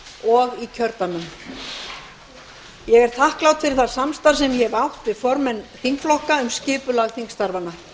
og í kjördæmum ég er þakklát fyrir það samstarf sem ég hef átt við formenn þingflokka um skipulag þingstarfanna